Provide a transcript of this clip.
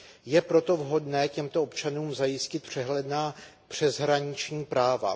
Je proto vhodné těmto občanům zajistit přehledná přeshraniční práva.